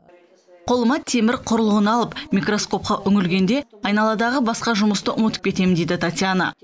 қолыма темір құрылғыны алып микроскопқа үңілгенде айналадағы басқа жұмысты ұмытып кетемін дейді татьяна